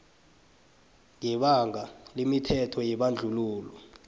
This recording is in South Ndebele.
ngebanga lemithetho yebandlululo